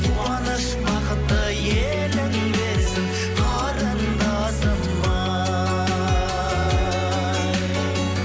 қуаныш бақытты елің десін қарындасым ай